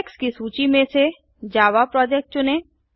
projects की सूची में से जावा प्रोजेक्ट चुनें